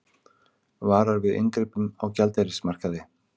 Varar við inngripum á gjaldeyrismarkaði